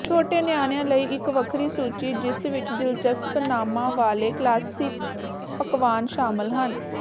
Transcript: ਛੋਟੇ ਨਿਆਣਿਆਂ ਲਈ ਇਕ ਵੱਖਰੀ ਸੂਚੀ ਜਿਸ ਵਿਚ ਦਿਲਚਸਪ ਨਾਮਾਂ ਵਾਲੇ ਕਲਾਸਿਕ ਪਕਵਾਨ ਸ਼ਾਮਲ ਹਨ